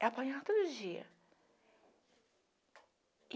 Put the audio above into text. Ela apanhava todo dia.